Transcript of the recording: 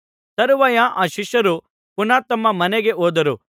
ತರುವಾಯ ಆ ಶಿಷ್ಯರು ಪುನಃ ತಮ್ಮ ಮನೆಗೆ ಹೋದರು